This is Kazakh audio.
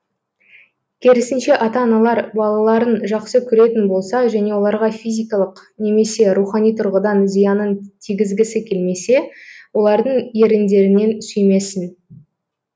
керісінше ата аналар балаларын жақсы көретін болса және оларға физикалық немесе рухани тұрғыдан зиянын тигізгісі келмесе олардың еріндерінен сүймесін